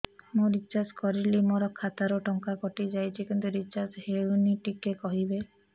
ମୁ ରିଚାର୍ଜ କରିଲି ମୋର ଖାତା ରୁ ଟଙ୍କା କଟି ଯାଇଛି କିନ୍ତୁ ରିଚାର୍ଜ ହେଇନି ଟିକେ କହିବେ